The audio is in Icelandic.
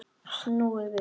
Snúið við!